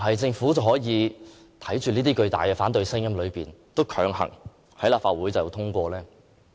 政府能否在如此巨大的反對聲音中，仍要強行在立法會通過有關議案？